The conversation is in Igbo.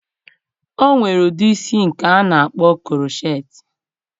O nwere ụdị isi nke a na-akpọ krocheetị